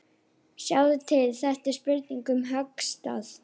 Sjáðu til, þetta er spurning um höggstað.